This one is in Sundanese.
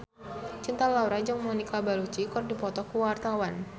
Cinta Laura jeung Monica Belluci keur dipoto ku wartawan